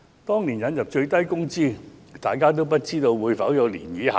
當年引入最低工資時，大家皆不知道會否出現漣漪效應。